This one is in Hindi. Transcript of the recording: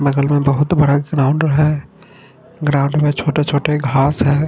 बगल मे बहुत बड़ा ग्राउन्ड है ग्राउन्ड मे छोटे छोटे घास है।